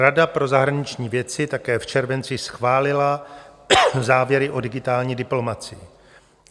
Rada pro zahraniční věci také v červenci schválila závěry o digitální diplomacii.